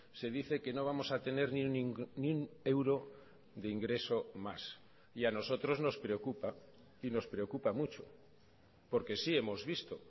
se dice que no vamos a tener ni un euro de ingreso más y a nosotros nos preocupa y nos preocupa mucho porque sí hemos visto